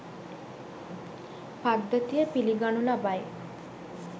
පද්ධතිය පිළිගනු ලබයි.